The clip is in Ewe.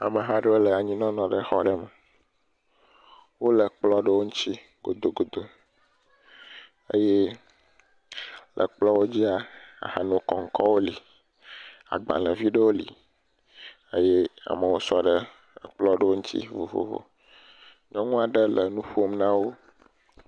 Ameha aɖewo le anyi le xɔ aɖe me, wole kplɔ aɖe ŋuti, godogodo eye le kplɔ dzia ahanokoŋkɔ li, agbalẽvi aɖewo li eye ame sɔ ɖe ekplɔ aɖewo ŋuti vovovo eye nyɔnu aɖe le nu ƒom na wo.